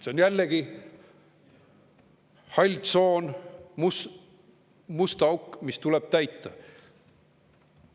See on jällegi hall tsoon, must auk, mis tuleb täita.